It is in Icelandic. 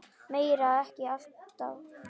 Meira er ekki alltaf betra.